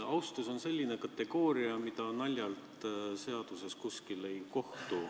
Austus on selline kategooria, mida naljalt kuskil seaduses ei kohta.